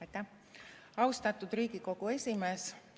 Aitäh, austatud Riigikogu esimees!